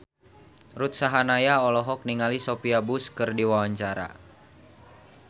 Ruth Sahanaya olohok ningali Sophia Bush keur diwawancara